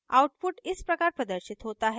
output इस प्रकार प्रदर्शित होता है: